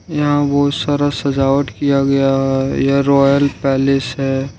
यहां बहुत सारा सजावट किया गया है यह रॉयल पैलेस है।